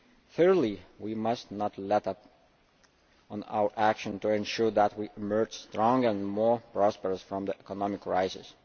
Clearly we must not let up on our action to ensure that we emerge stronger and more prosperous from the economic crisis.